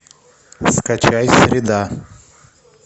скачай среда